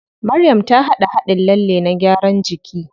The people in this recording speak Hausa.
Maryam ta haɗa haɗin lalle na gyaran jiki.